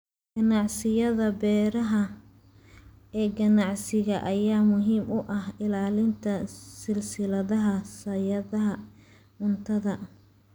Ganacsiyada beeraha ee ganacsiga ayaa muhiim u ah ilaalinta silsiladaha sahayda cuntada.